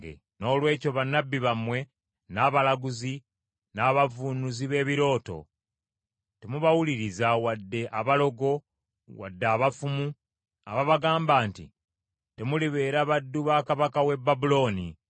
Noolwekyo bannabbi bammwe, n’abalaguzi, n’abavvuunuzi b’ebirooto, temubawuliriza wadde abalogo wadde abafumu ababagamba nti, ‘Temulibeera baddu ba kabaka w’e Babulooni.’